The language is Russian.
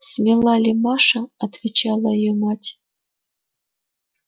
смела ли маша отвечала её мать